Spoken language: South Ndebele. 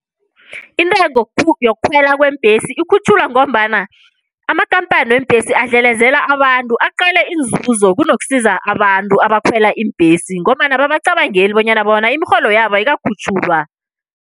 Intengo yokukhwela kweembhesi ikhutjhulwa, ngombana amakhamphani weembhesi abadlelezela abantu, aqale inzuzo kunokusiza abantu abakhwela iimbhesi, ngombana ababacabangeli bonyana bona imirholo yabo ayikakhutjhulwa.